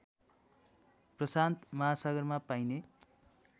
प्रशान्त महासागरमा पाइने